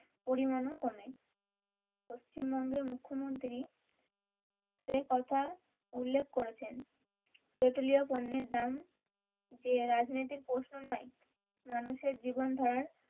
পরিমানও কমে পশ্চিমবঙ্গের মুখ্যমন্ত্রী সে কথা উল্লেখ করেছেন পেট্রলিও পণ্যের দাম যে রাজনৈতিক প্রশ্ন নয়মানুষের জীবন ধারার,